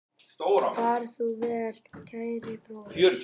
Far þú vel, kæri bróðir.